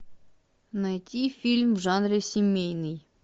найти фильм в жанре семейный